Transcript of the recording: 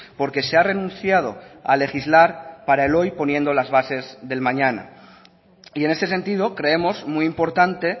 porque se ha renunciado a legislar para el hoy poniendo las bases del mañana y en este sentido creemos muy importante